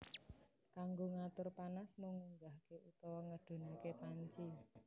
Kanggo ngatur panas mung ngunggahke utawa ngedhunake panci